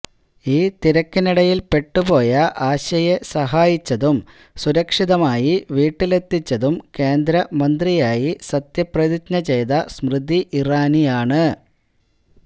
ഈ തിരക്കിനിടയില് പെട്ട് പോയ ആശയെ സഹായിച്ചതും സുരക്ഷിതമായി വീട്ടിലെത്തിച്ചതും കേന്ദ്ര മന്ത്രിയായി സത്യപ്രതിജ്ഞ ചെയ്ത സ്മൃതി ഇറാനിയാണ്